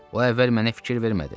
O əvvəl mənə fikir vermədi.